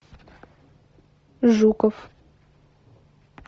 жуков